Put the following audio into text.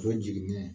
O ye jiginɛ ye